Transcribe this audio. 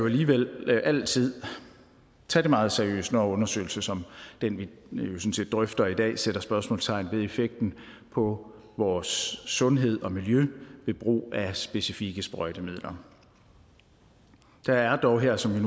alligevel altid tage det meget seriøst når en undersøgelse som den vi drøfter i dag sætter spørgsmålstegn ved effekten på vores sundhed og miljø ved brug af specifikke sprøjtemidler der er dog her som vi